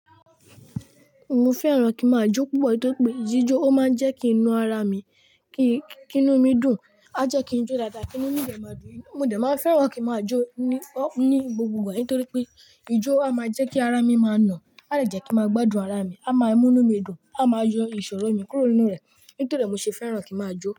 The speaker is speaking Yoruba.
Mo fẹ́ràn kí màá jó púpọ̀ nítorí pé ijó ó máa ń jẹ́ kí n na ara mi, kí inú mi dùn, á jẹ́ kí n jó dada, kí inú mi dẹ máa dùn. Mo dẹ máa n fẹ́ràn kí màá jó ní, ní gbogbo ìgbà nítorí pé ijó a máa jẹ́ kí ara mi máa nà, a dẹ jẹ́ kí n màá gbádùn ara mi, a máa mú inú mi dùn, a máa yọ ìṣòro mi kúrò nínú rẹ̀. Nítorí ẹ̀ mo ṣe fẹ́ràn kí n màá jó.